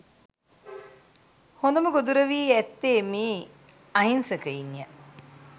හොඳම ගොදුර වී ඇත්තේ මේ අහින්සකයින්ය